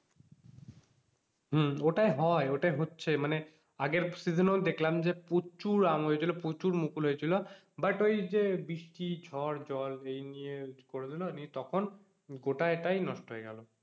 হম ওটাই হয় ওটাই হচ্ছে মানে আগের season এও দেখলাম যে প্রচুর আম হয়েছিল প্রচুর মুকুল হয়েছিল but ওই যে বৃষ্টি ঝড় জল এই নিয়ে করে দিল তখন গোটা এ টাই নষ্ট হয়ে গেল।